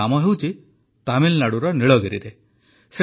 ଏହି କାମ ହେଉଛି ତାମିଲନାଡୁର ନୀଳଗିରିରେ